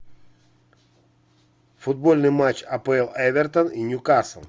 футбольный матч апл эвертон и ньюкасл